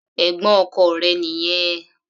Ẹ̀gbọ́n ọkọ rẹ̀ nìyẹn.